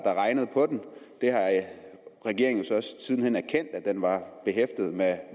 har regnet på den regeringen så også siden hen erkendt at den var behæftet med